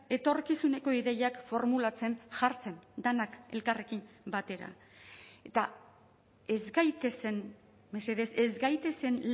etorkizuneko ideiak formulatzen jartzen denak elkarrekin batera eta ez gaitezen mesedez ez gaitezen